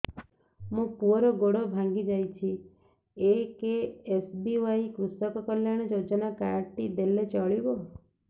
ମୋ ପୁଅର ଗୋଡ଼ ଭାଙ୍ଗି ଯାଇଛି ଏ କେ.ଏସ୍.ବି.ୱାଇ କୃଷକ କଲ୍ୟାଣ ଯୋଜନା କାର୍ଡ ଟି ଦେଲେ ଚଳିବ